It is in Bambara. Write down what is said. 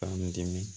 K'an dimi